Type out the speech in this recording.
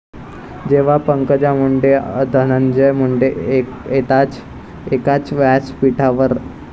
...जेव्हा पंकजा मुंडे आणि धनंजय मुंडे येतात एकाच व्यासपीठावर